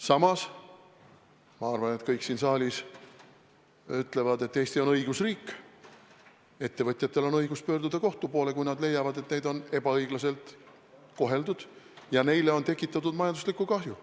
Samas ma arvan, et kõik siin saalis ütlevad, et Eesti on õigusriik, ettevõtjatel on õigus pöörduda kohtu poole, kui nad leiavad, et neid on ebaõiglaselt koheldud ja neile on tekitatud majanduslikku kahju.